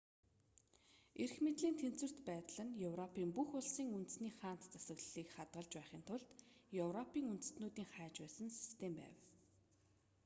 эрх мэдлийн тэнцвэрт байдал нь европын бүх улсын үндэсний хаант засаглалыг хадгалж байхын тулд европын үндэстнүүдийн хайж байсан систем байв